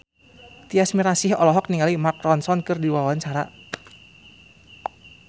Tyas Mirasih olohok ningali Mark Ronson keur diwawancara